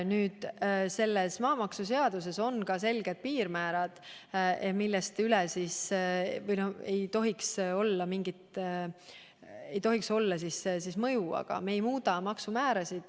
Kõnealuses maamaksuseaduse eelnõus on kirjas selged piirmäärad, mida, aga me ei muuda maksumäärasid.